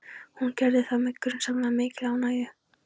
Hún gerði það með grunsamlega mikilli ánægju.